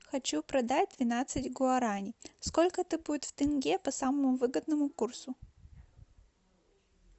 хочу продать двенадцать гуарани сколько это будет в тенге по самому выгодному курсу